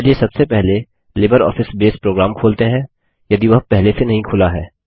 चलिए सबसे पहले लिबरऑफिस बेस प्रोग्राम खोलते हैं यदि वह पहले से नही खुला है